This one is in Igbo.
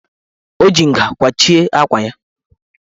O ji nga kwachie akwa ya.